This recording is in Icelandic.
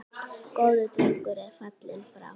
Góður drengur er fallinn frá.